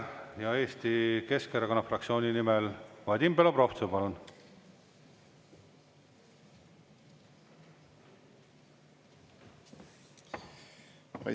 Ja Eesti Keskerakonna fraktsiooni nimel, Vadim Belobrovtsev, palun!